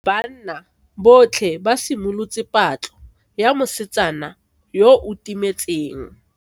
Banna botlhe ba simolotse patlo ya mosetsana yo o timetseng.